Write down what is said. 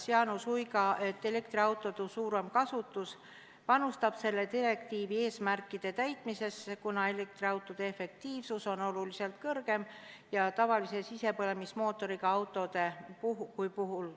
Jaanus Uiga vastas, et elektriautode suurem kasutus panustab selle direktiivi eesmärkide täitmisesse, kuna elektriautode efektiivsus on oluliselt kõrgem kui tavalise sisepõlemismootoriga autodel.